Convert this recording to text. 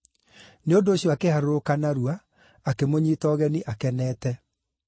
Nĩ ũndũ ũcio akĩharũrũka narua, akĩmũnyiita ũgeni akenete.